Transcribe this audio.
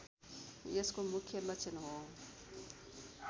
यसको मुख्य लक्षण हो